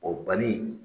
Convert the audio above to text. O banni